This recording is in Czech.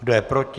Kdo je proti?